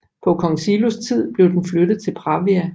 På kong Silos tid blev den flyttet til Pravia